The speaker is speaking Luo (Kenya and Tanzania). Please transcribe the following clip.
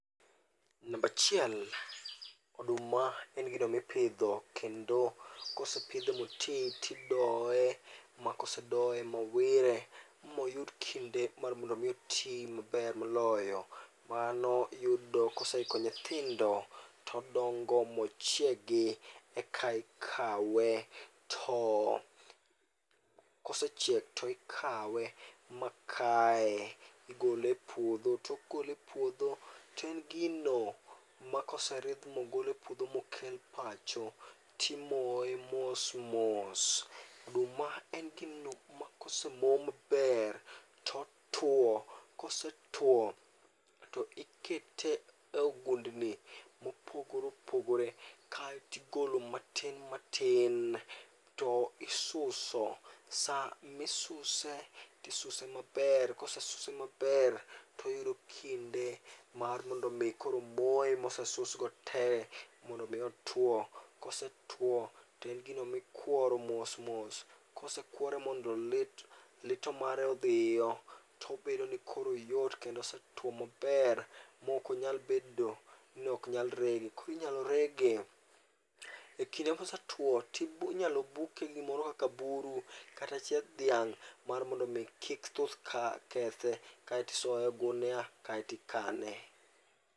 Namba achiel, oduma en gino mipidho kendo kosepidhe ma otwi tidoye, makosedoye mowire, moyud kinde mar mondo mi otwi maber moloyo, mano yudo ka ose iko nyithindo, to odongo mochiegi. Eka ikawe to Kosechiek to ikawe ma kaye, igole e puodho. Tok gole e puodho to en gino makoseridh mogol e puodho mokel pacho, to imoye mos mos. Oduma en gino ma kosemo maber, totwo, kosetwo to ikete e ogund ni mopogore opogore kaeto igolo matin matin to isuso. Sa misuse, to isuse maber kose suse maber, to oyudo kinde mar mondo mi koro moye mose susgo tee mondo mi otwo. Kosetwo to en gino mikworo mos mos, kosekwore mondo lit lito mare odhiyo, to obedo ni koro oyot kendo osetwo maber maok onyal bedo ni ok nyal rege. Koro inyalo rege ekinde mosetwo to inyalo buke gi gimoro kaka buru kata chieth dhiang' mar mondo kik thuth kethe kaeto isoye e ogunia kaeto ikane.